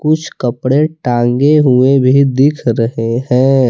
कुछ कपड़े टांगें हुए भी दिख रहे हैं।